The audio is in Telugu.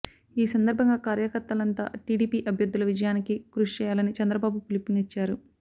ఈ సందర్భంగా కార్యకర్తలంతా టీడీపీ అభ్యర్థుల విజయానికి కృషి చేయాలని చంద్రబాబు పిలుపునిచ్చారు